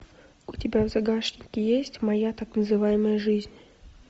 у тебя в загашнике есть моя так называемая жизнь